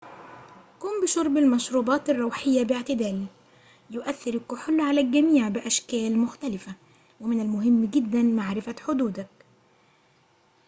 قم بشرب المشروبات الروحية باعتدال يؤثر الكحول على الجميع بأشكال مختلفة ومن المهم جدأ معرفة حدودك